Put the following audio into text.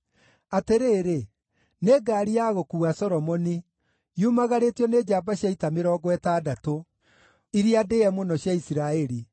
Atĩrĩrĩ! Nĩ ngaari ya gũkuua Solomoni, yumagarĩtio nĩ njamba cia ita mĩrongo ĩtandatũ, iria ndĩĩe mũno cia Isiraeli,